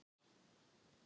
Dagur vann Söngkeppnina